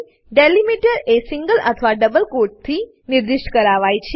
delimiter એ single અથવા double કોટથી નિર્દિષ્ટ કરાવાય છે